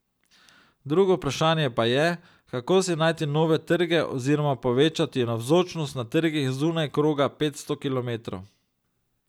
Drugo vprašanje pa je, kako si najti nove trge oziroma povečati navzočnost na trgih zunaj kroga petsto kilometrov.